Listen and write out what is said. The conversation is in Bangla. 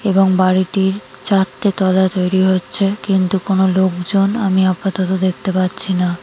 এবং বাড়িটির চারটে তলা তৈরী হচ্ছে। কিন্তু কোন লোকজন আমি আপাতত দেখতে পাচ্ছি না।